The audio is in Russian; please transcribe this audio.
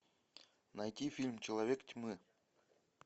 найти фильм человек тьмы